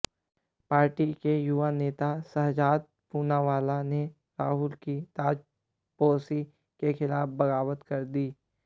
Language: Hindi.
पार्टी के युवा नेता शहजाद पूनावाला ने राहुल की ताजपोशी के खिलाफ बगावत कर दी